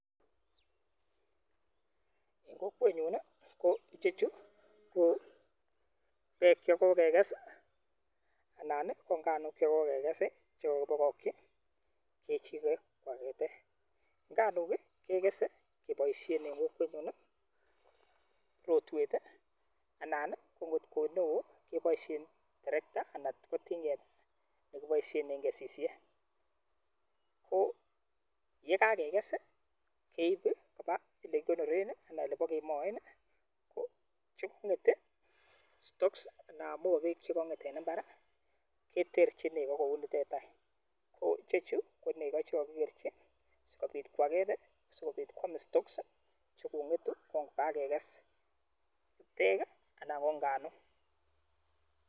Kokwenyun ko ichechu kobeek chekokeges i,alan ko inganuk chekakeges chekokibokokyiii Chichi koges, nganuk kekesen en kokwenyun rotwet i,anan angot ko eleo keboishien terektaa sikeges, ye kageges I,keib koba olekikonooren anan ko elebokemoen, ko mobeg anan kochekonget en imbaar keterchiin negoo kouni, ichechu konegoo chekokikerchii sikobit kwaakeet sikobiit kwam stolks chekongetun kon ko kageges beek anan ko inganuk.